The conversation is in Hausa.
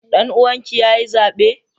Danuwan ki yayi zabe?